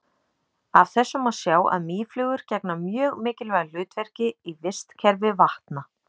Af þessu má sjá að mýflugur gegna mjög mikilvægu hlutverki í vistkerfi vatna.